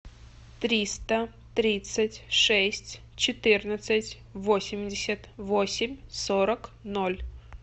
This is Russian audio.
триста тридцать шесть четырнадцать восемьдесят восемь сорок ноль